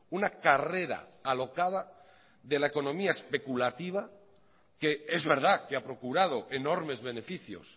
una carrera alocada de la economía especulativa que es verdad que ha procurado enormes beneficios